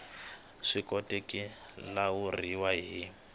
swi koteki ku lawuriwa hi